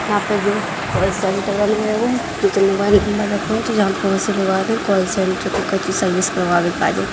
यहाँ पे जो कॉल सेंटर बने हैं वो कॉल सेंटर सर्विस --